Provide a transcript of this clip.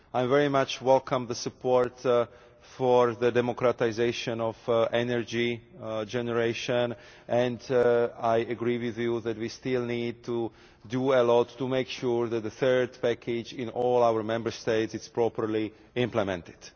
I very much welcome the support for the democratisation of energy generation, and I agree with you that we still need to do well and ought to make sure that the third package in all our Member States is properly implemented.